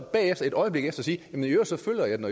et øjeblik efter sige